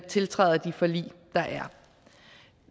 tiltræder de forlig der er